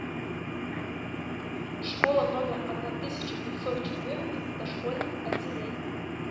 школа номер одна тысяча пятьсот четырнадцать с дошкольным отделением